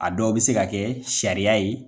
A dɔw bɛ se ka kɛ sariya ye.